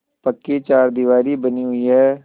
पक्की चारदीवारी बनी हुई है